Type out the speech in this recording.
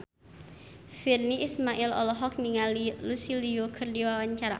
Virnie Ismail olohok ningali Lucy Liu keur diwawancara